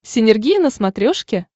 синергия на смотрешке